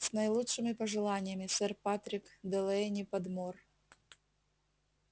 с наилучшими пожеланиями сэр патрик делэйни-подмор